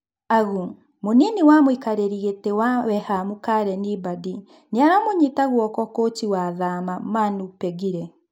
(Agu) Mũnini wa mũikarĩri gĩtĩ wa Weham Kareni Mbadi nĩaramũnyita guoko Kũchi wa Thaama , Manu Pengire.